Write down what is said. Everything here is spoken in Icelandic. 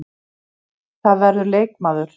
Það verður leikmaður.